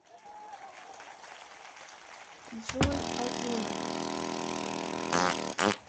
джой озуна